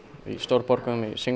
í stórborgum